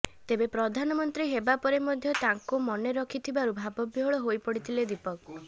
ତେବେ ପ୍ରଧାନମନ୍ତ୍ରୀ ହେବା ପରେ ମଧ୍ୟ ତାଙ୍କୁ ମନେ ରଖିଥିବାରୁ ଭାବବିହ୍ୱଳ ହୋଇପଡ଼ିଥିଲେ ଦୀପକ